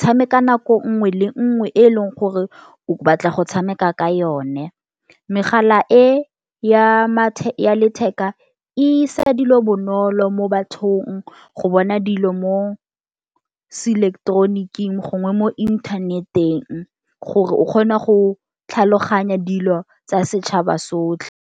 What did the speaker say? tshameka nako nngwe le nngwe e leng gore o batla go tshameka ka yone. Megala e ya letheka isa dilo bonolo mo bathong go bona dilo mo se ileketeroniki-ng gongwe mo inthanet-eng gore o kgona go tlhaloganya dilo tsa setšhaba sotlhe.